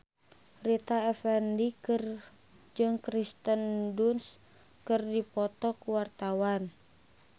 Rita Effendy jeung Kirsten Dunst keur dipoto ku wartawan